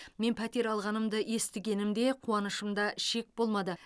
мен пәтер алғанымды естігенімде қуанышымда шек болмады